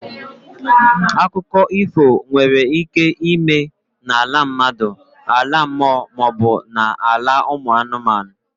Akụkọ ifo nwere ike ịme n'ala mmadụ, ala mmụọ maọbụ ala ụmụ anụmanụ.